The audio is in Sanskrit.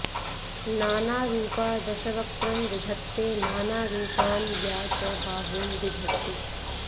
नानारूपा दशवक्त्रं विधत्ते नानारूपान् या च बाहून् बिभर्ति